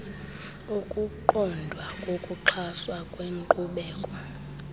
ukuqondwa kokuxhaswa kwenkqubela